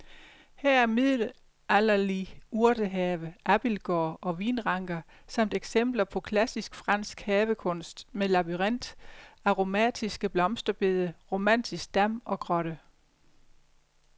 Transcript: Her er middelalderlig urtehave, abildgård og vinranker samt eksempler på klassisk fransk havekunst med labyrint, aromatiske blomsterbede, romantisk dam og grotte.